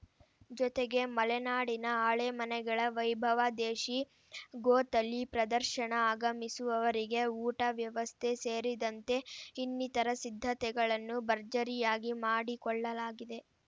ಜೊತೆಗೆ ಮಲೆನಾಡಿನ ಆಲೆಮನೆಗಳ ವೈಭವ ದೇಶಿ ಗೋ ತಳಿ ಪ್ರದರ್ಶನ ಆಗಮಿಸುವವರಿಗೆ ಊಟ ವ್ಯವಸ್ಥೆ ಸೇರಿದಂತೆ ಇನ್ನಿತರ ಸಿದ್ಧತೆಗಳನ್ನು ಭರ್ಜರಿಯಾಗಿ ಮಾಡಿಕೊಳ್ಳಲಾಗಿದೆ